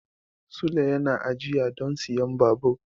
Sule yana ajiya don siyan babur.